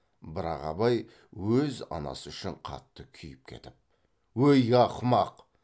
бірақ абай өз анасы үшін қатты күйіп кетіп өй ақымақ